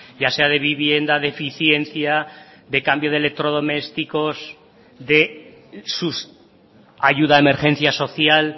ya sea de vivienda de eficiencia de cambio de electrodomésticos de ayuda de emergencia social